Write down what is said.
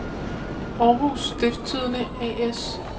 Århus Stiftstidende A/S